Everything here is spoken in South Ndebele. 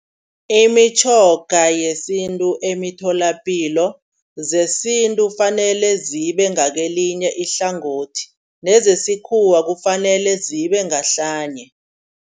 Imitjhoga yesintu emitholapilo zesintu fanele zibe ngakelinye ihlangothi. Nezesikhuwa kufanele zibe ngahlanye.